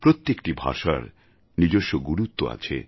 প্রত্যেকটি ভাষার নিজস্ব গুরুত্ব আছে